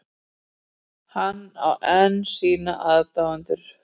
Hann á enn sína aðdáendur